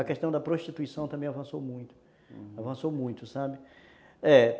A questão da prostituição também avançou muito, uhum, avançou muito, sabe?